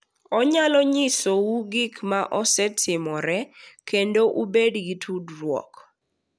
Onyalo nyisou gik ma osetimore kendo ubed gi tudruok.